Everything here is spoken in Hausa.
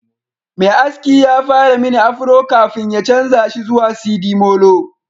Mai aski ya fara mini afro kafin ya canza shi zuwa sidimolo